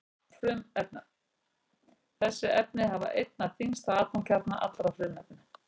Þessi efni hafa einna þyngsta atómkjarna allra frumefna.